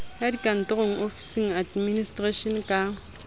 ya dikantoro office administration ka